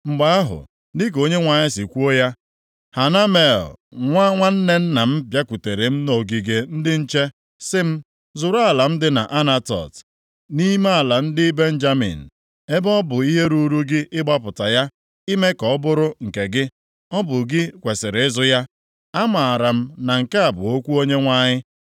“Mgbe ahụ, dịka Onyenwe anyị si kwuo ya, Hanamel nwa nwanne nna m bịakwutere m nʼogige ndị nche sị m, ‘Zụrụ ala m dị nʼAnatot, nʼime ala ndị Benjamin. Ebe ọ bụ ihe ruuru gị ịgbapụta ya ime ka ọ bụrụ nke gị, ọ bụ gị kwesiri ịzụ ya.’ “Amaara m na nke a bụ okwu Onyenwe anyị.